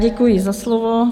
Děkuji za slovo.